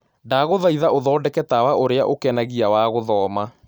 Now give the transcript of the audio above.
Ndagũthaĩtha ũthondeke tawa ũrĩa ukenagĩa wa gũthoma